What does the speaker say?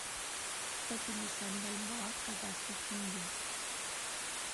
сто пятьдесят бальбоа в казахских тенге